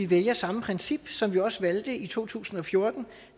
vælger samme princip som vi også valgte i to tusind og fjorten